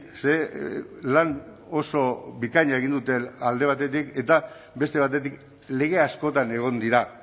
ze lan oso bikaina egin dute alde batetik eta beste batetik lege askotan egon dira